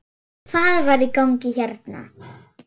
Hvað var í gangi hérna?